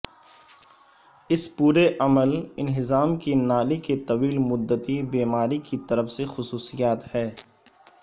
اس پورے عمل انہضام کی نالی کے طویل مدتی بیماری کی طرف سے خصوصیات ہے